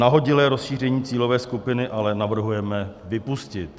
Nahodilé rozšíření cílové skupiny ale navrhujeme vypustit.